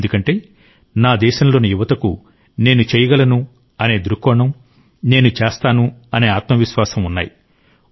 ఎందుకంటే నా దేశంలోని యువతకు నేను చేయగలను అనే దృక్కోణం నేను చేస్తాను అనే ఆత్మవిశ్వాసం ఉన్నాయి